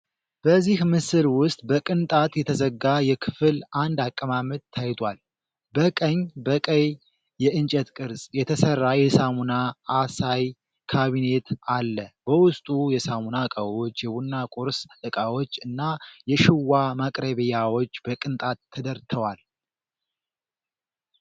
በዚህ ምስል ውስጥ በቅንጣት የተዘጋ የክፍል አንድ አቀማመጥ ታይቷል። በቀኝ በቀይ የእንጨት ቅርጽ የተሠራ የሳሙና አሳይ ካቢኔት አለ፣ በውስጡ የሳሙና እቃዎች፣ የቡና ቁርስ እቃዎች እና የሽዋ ማቅረቢያዎች በቅንጣት ተደርተዋል፡፡